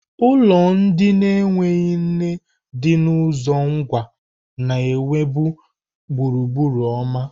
Ulo ndi na-enweghị nne di na uzo Ngwa na-enwebu gburugburu ọma.